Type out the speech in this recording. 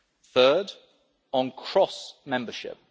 Third, on cross membership.